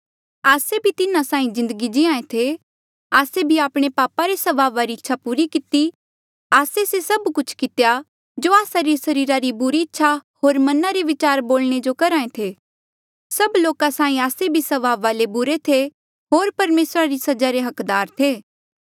आस्से भी तिन्हा साहीं जिन्दगी जीये थे आस्से भी आपणे पापा रे स्वभावा री इच्छा पूरी किती आस्से से सब कुछ कितेया जो आस्सा री सरीरा री बुरी इच्छा होर मना रे बिचार बोलणे जो करहे थे सभ लोका साहीं आस्से भी स्वभावा ले बुरे थे होर परमेसरा री सजा रे हकदार थे